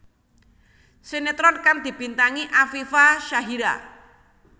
Sinetron kang dibintangi Afifa Syahira